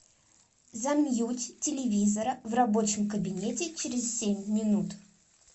замьють телевизора в рабочем кабинете через семь минут